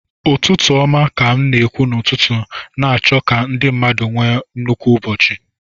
Ụtụtụ ọma ka a na-ekwu n'ụtụtụ, na-achọ ka ndị mmadụ nwee nnukwu ụbọchị